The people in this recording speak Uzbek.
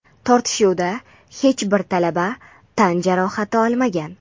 Tortishuvda hech bir talaba tan jarohati olmagan.